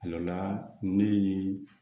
A dɔ la ne ye